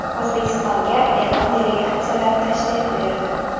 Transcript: O‘zbekistonga Eron delegatsiyalari tashrif buyurdi.